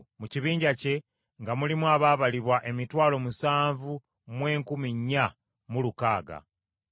Mu kibinja kye nga mulimu abaabalibwa emitwalo musanvu mu enkumi nnya mu lukaaga (74,600).